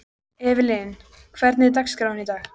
Evelyn, hvernig er dagskráin í dag?